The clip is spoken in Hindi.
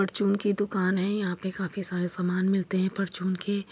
परचून की दुकान है यहाँ पे काफी सारे सामान मिलते है परचून के।